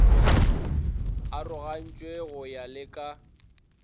arogogantšwe go ya le ka